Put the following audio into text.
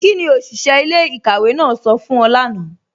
Kíni oṣiṣẹ̀ ilẹ̀-ikàwé náà sọ fún ọ̀ lána?